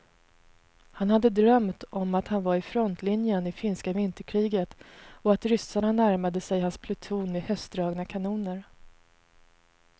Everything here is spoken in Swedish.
Han hade drömt om att han var i frontlinjen i finska vinterkriget och att ryssarna närmade sig hans pluton med hästdragna kanoner.